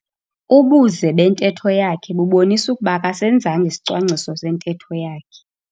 Ubuze bentetho yakhe bubonisa ukuba akasenzanga isicwangciso sentetho yakhe.